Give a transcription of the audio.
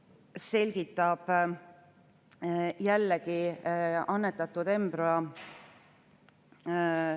Eelnõu kohaselt tehakse perekonnaseaduse §‑s 82 täiendus, et lapsel ei või olla rohkem kui kaks vanemat, ning on välja jäetud perekonnaseaduse § 94, kus selline säte oli algse eelnõu järgi.